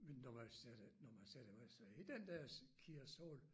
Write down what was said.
Men når man sætter når man sætter sig i den der KIA Soul